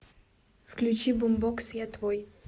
включи бумбокс я твой